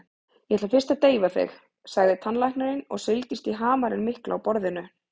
Ég ætla fyrst að deyfa þig, sagði tannlæknirinn og seildist í hamarinn mikla á borðinu.